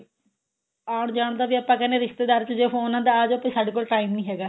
ਆਉਣ ਜਾਣ ਦਾ ਵੀ ਆਪਾਂ ਕਹਿੰਦੇ ਆ ਰਿਸ਼ਤੇਦਾਰ ਦਾ phone ਆਂਦਾ ਆਜੇ ਸਾਡੇ ਕੋਲ time ਨੀ ਹੈਗਾ